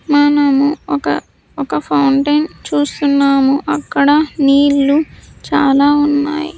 మనము ఒక ఒక ఫౌంటైన్ చూస్తున్నాము అక్కడ నీళ్లు చాలా ఉన్నాయి.